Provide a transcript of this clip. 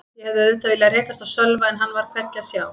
Ég hefði auðvitað viljað rekast á Sölva en hann var hvergi að sjá.